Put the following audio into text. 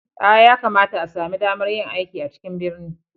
A, ya kamata a sami damar yin aiki a cikin birni